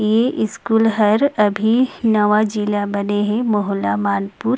ई school हर अभी नवा जिला बने हे मोहला मानपुर --